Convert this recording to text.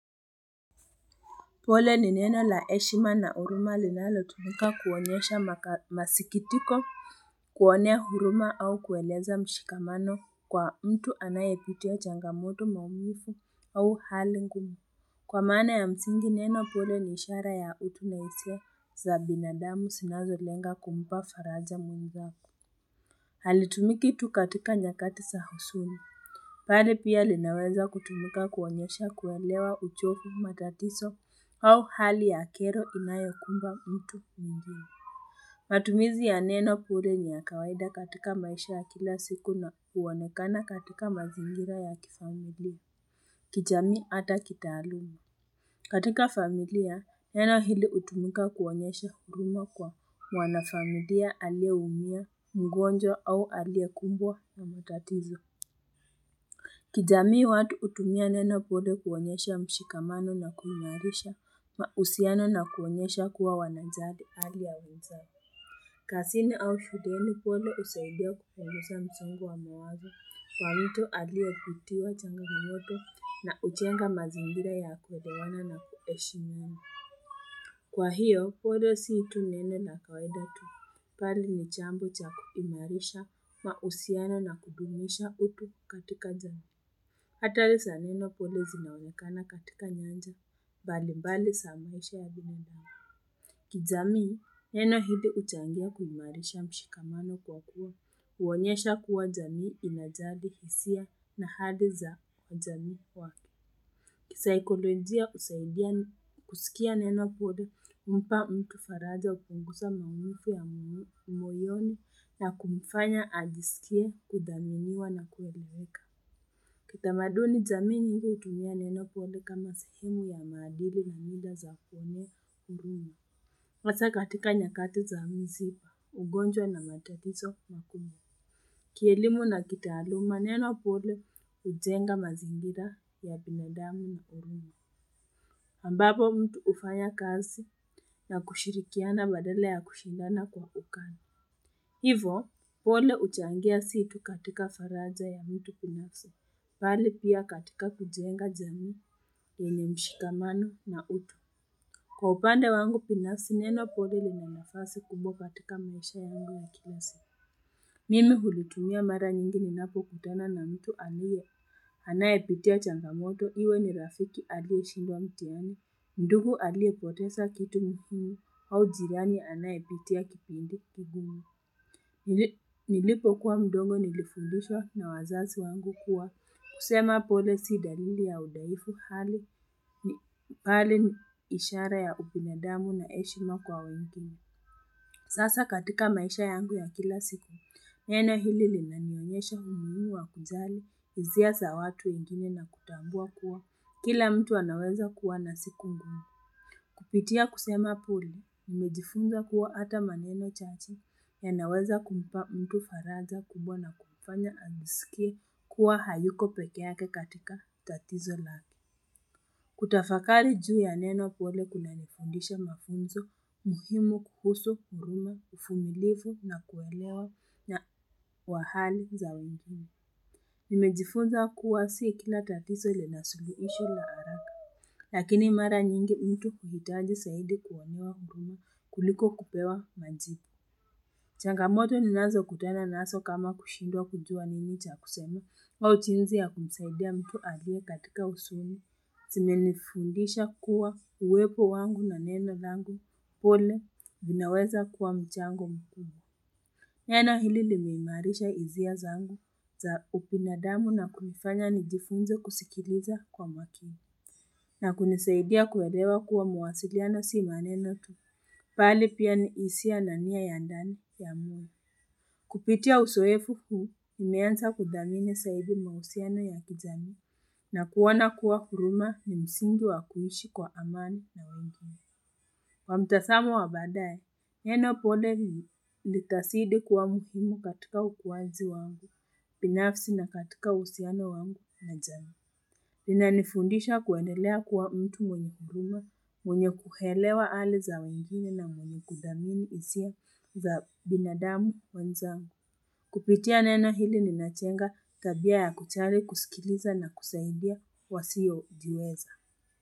Pole ni neno la heshima na huruma linalo tumika kuonyesha masikitiko kuonea huruma au kueleza mshikamano kwa mtu anayepitia changamoto maumivu au hali ngumu kwa maana ya msingi neno pole ni ishara ya utu na hisia za binadamu sinazo lenga kumpa faraja mungu zako halitumiki tu nyakatika za huzuni bali pia linaweza kutumika kuonyesha kuelewa uchovu matatiso au hali ya kero inayokumba mtu mwigine. Matumizi ya neno pole ni ya kawaida katika maisha ya kila siku na huonekana katika mazingira ya kifamilia. Kijamii hata kitaaluma. Katika familia, neno hili hutumika kuonyesha huruma kwa wanafamilia aliyeumia mgonjwa au alie kumbwa na matatizo. Kijamii watu hutumia neno pole kuonyesha mshikamano na kuimarisha, mahusiano na kuonyesha kuwa wanajali hali ya wenzao. Kazini au shuleni pole husaidia kupunguza msongo wa mawazo, kwamito aliye kutiwa changamoto na huchenga mazangira ya kuelewana na kuheshimu. Kwa hiyo, pole si mtu neno na kawaida tu. Bari ni jambo cha kuimarisha, mahusiano na kudumisha utu katika jamii. Hatari za neno pole zinaonekana katika nyanja, mbali mbali za mwisha ya binadamu. Kijamii, neno hili huchangia kuimarisha mshikamano kwa kuwa, huonyesha kuwa jamii inajali hisia na hali za wajamii wake. Kisayikolojia husaidia kusikia neno pole humpa faraja hupungusa maumivu ya moyoni na kumfanya ajisikie kudhaminiwa na kueleweka. Kitamaduni jamii hili hutumia neno pole kama sehimu ya maadili na mila za kuona huruma. Masaa katika nyakati za mziba, ugonjwa na matakiso makubwa. Kielimu na kitaaluma neno pole hujenga mazingira ya binadamu na huruna. Ambapo mtu hufanya kazi na kushirikiana badala ya kushindana kwa ukani. Hivyo pole huchangia si tu katika faraja ya mtu binafsi bali pia katika kujenga jamii yenye mshikamano na utu kwa upande wangu binafsi neno pole linanafasi kubwa katika maisha yangu ya kila siku mimi hulitumia mara nyingi ninapo kutana na mtu aliyo anayepitia changamoto iwe ni rafiki aliyeshindwa mtiani ndugu alie potesa kitu mkini au jirani anayepitia kipindi kigumu Nilipo kuwa mdogo nilifundishwa na wazazi wangu kuwa kusema pole si dalili ya udhaifu hali ni pale ishara ya ubinadamu na heshima kwa wengine Sasa katika maisha yangu ya kila siku Neno hili linanionyesha umuhimu wa kujali hisia sa watu wengine na kutambua kuwa Kila mtu anaweza kuwa na siku ngumu Kupitia kusema pole Nimejifunza kuwa hata maneno chache yanaweza kumpa mtu faraja kubwa na kumfanya ajisikie kuwa hayuko pekeake katika tatizo lake. Kutafakali juu ya neno pole kuna nifundisha mafunzo, muhimu kuhusu huruma, uvumilifu na kuelewa na wahali za wengine. Nimejifunza kuwa si kila tatizo linasuluhishwa la haraka, lakini mara nyingi mtu hujitaji zaidi kuonewa huruma kuliko kupewa majibu. Changamoto ninazo kutana nazo kama kushindwa kujua nini cha kuseme wa ujinsi ya kumsaidia mtu aliyekatika husuni. Zimenifundisha kuwa uwepo wangu na neno langu pole linaweza kuwa mchango mkubwa. Neno hili limeimarisha hisia zangu za ubinadamu na kunifanya nijifunze kusikiliza kwa makini. Na kunisaidia kuelewa kuwa mawasiliano si maneno tu. Bali pia ni hisia na nia yandani ya mtu. Kupitia uzoefu huu, nimeanza kudhamini zaidi mahusiano ya kijamii. Na kuona kuwa huruma ni msingi wa kuishi kwa amani na. Kwa mtazamo wa badaye, neno pole litasidi kuwa mgumu katika ukuwaji wangu, binafsi na katika uhusiano wangu na jamii. Ninanifundisha kuendelea kuwa mtu mwenye huruma, mwenye kuelewa hali za wengine na mwenye kudhamini hisia. Za binadamu wenzangu. Kupitia neno hili linajenga tabia ya kuchari kusikiliza na kusaidia wasio jiweza.